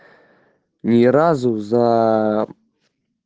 ни разу за